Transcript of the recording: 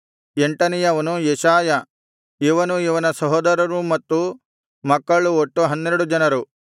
ಎಂಟನೆಯವನು ಯೆಶಾಯ ಇವನೂ ಇವನ ಸಹೋದರರೂ ಮತ್ತು ಮಕ್ಕಳು ಒಟ್ಟು ಹನ್ನೆರಡು ಜನರು